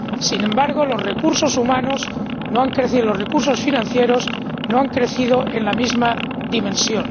Sin embargo, los recursos humanos no han crecido, los recursos financieros no han crecido en la misma dimensión.